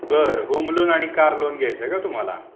बर home loan आणि car loan घ्यायचा का तुम्हाला?